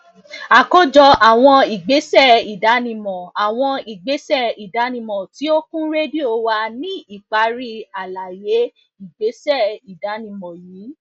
àkójọ àwọn ìgbésẹ ìdánimọ àwọn ìgbésẹ ìdánimọ tí ó kún rédíò wà ní ìparí àlàyé ìgbésẹ ìdánimọ yìí